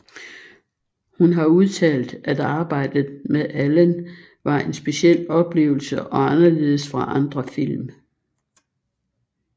Hun har udtalt at arbejdet med Allen var en speciel oplevelse og anderledes fra andre film